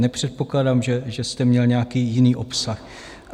Nepředpokládám, že jste měl nějaký jiný obsah.